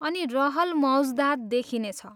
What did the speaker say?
अनि रहल मौज्दात देखिने छ।